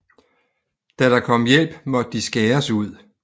Da der kom hjælp måtte de skæres ud